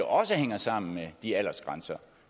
også hænger sammen med de aldersgrænser